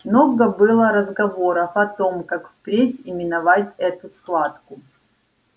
много было разговоров о том как впредь именовать эту схватку